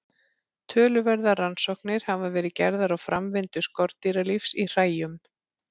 Talsverðar rannsóknir hafa verið gerðar á framvindu skordýralífs í hræjum.